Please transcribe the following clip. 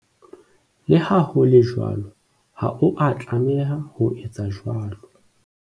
Le ha ho le jwalo, ha o a tlameha ho etsa jwalo.